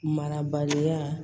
Marabaliya